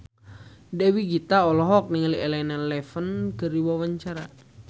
Dewi Gita olohok ningali Elena Levon keur diwawancara